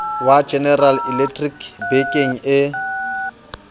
wa general electric bekeng e